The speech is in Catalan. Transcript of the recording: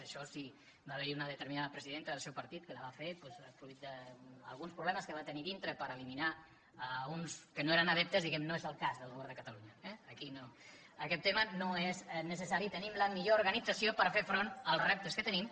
en això si va haver hi una determinada presidenta del seu partit que la va fer fruit d’alguns problemes que va tenir a dintre per eliminar ne uns que no eren adeptes diguem ne no és el cas del govern de catalunya eh aquí aquest tema no és necessari tenim la millor organització per fer front als reptes que tenim